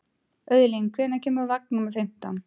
Auðlín, hvenær kemur vagn númer fimmtán?